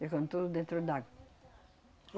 Ficam tudo dentro d'água.